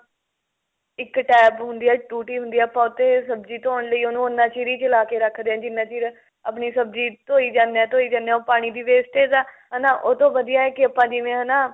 ਇੱਕ tap ਹੁੰਦੀ ਏ ਟੂਟੀ ਹੁੰਦੀ ਏ ਆਪਾਂ ਉਹ ਤੇ ਸਬਜ਼ੀ ਧੋਣ ਲਈ ਉਹਨੂੰ ਉੰਨਾ ਚਿਰ ਹੀ ਚਲਾਕੇ ਰੱਖਦੇ ਹਾਂ ਜਿੰਨਾ ਚਿਰ ਆਪਣੀ ਸਬਜ਼ੀ ਧੋਈ ਜਾਨੇ ਆ ਧੋਈ ਜਾਨੇ ਆ ਉਹ ਪਾਣੀ ਦੀ wastage ਆ ਹਨਾ ਉਹ ਤੋਂ ਵਧੀਆ ਆ ਕਿ ਆਪਾਂ ਜਿਵੇਂ ਹਨਾ